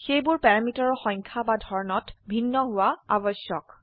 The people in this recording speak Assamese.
সেইবোৰ প্যাৰামিটাৰৰ সংখ্যা বা ধৰনত ভিন্ন হোৱা আবশ্যক